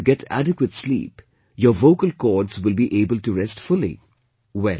Only when you get adequate sleep, your vocal chords will be able to rest fully